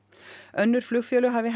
önnur flugfélög hafi